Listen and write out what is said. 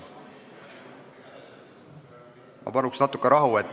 Ma palun natuke rahu!